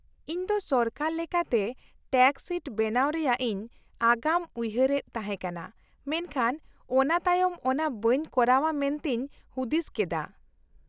-ᱤᱧ ᱫᱚ ᱥᱚᱨᱠᱟᱨ ᱞᱮᱠᱟᱛᱮ ᱴᱮᱠᱥ ᱥᱤᱴ ᱵᱮᱱᱟᱣ ᱨᱮᱭᱟᱜ ᱤᱧ ᱟᱜᱟᱢ ᱩᱭᱦᱟᱹᱨᱮᱫ ᱛᱟᱦᱮᱸᱠᱟᱱᱟ ᱢᱮᱱᱠᱷᱟᱱ ᱚᱱᱟᱛᱟᱭᱚᱢ ᱚᱱᱟ ᱵᱟᱹᱧ ᱠᱚᱨᱟᱣᱟ ᱢᱮᱱᱛᱮᱧ ᱦᱩᱫᱤᱥ ᱠᱮᱫᱟ ᱾